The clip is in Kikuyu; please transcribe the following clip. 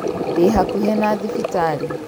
Ndĩ hakuhĩ na thibitarĩ